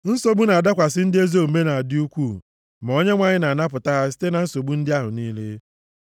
Nsogbu na-adakwasị ndị ezi omume na-adị ukwuu, ma Onyenwe anyị na-anapụta ha site na nsogbu ndị ahụ niile.